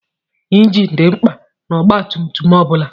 Ịnjin dị mkpa n'ọgbatumtum ọ bụla.